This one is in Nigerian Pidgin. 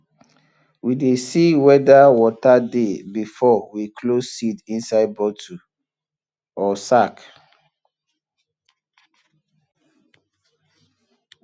we dey see wheather water dey before we close seed inside bottle or sack